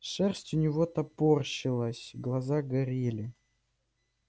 шерсть у него топорщилась глаза горели